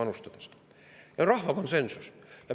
Selline on rahva konsensus.